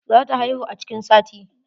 Za ta haihu a cikin sati.